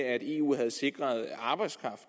at eu havde sikret arbejdskraft